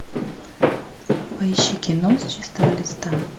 поищи кино с чистого листа